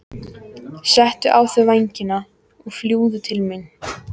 Settu á þig vængina og fljúgðu til mín.